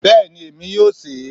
Bẹ́ẹ̀ni, èmi yóò se e